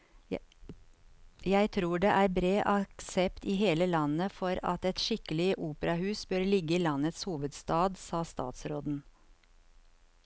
Jeg tror det er bred aksept i hele landet for at et skikkelig operahus bør ligge i landets hovedstad, sa statsråden.